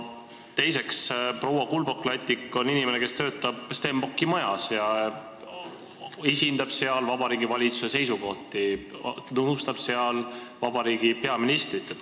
Teiseks, proua Kulbok-Lattik on inimene, kes töötab Stenbocki majas ja esindab seal Vabariigi Valitsuse seisukohti, nõustab seal vabariigi peaministrit.